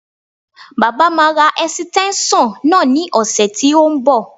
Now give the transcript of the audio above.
Baba máa ra ẹ̀sìtẹ́ńṣọ̀n náà ní ọ̀sẹ̀ tí ó ń bọ̀